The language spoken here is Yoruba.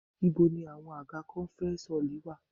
Ibo ni àwọn àga conference hall wá?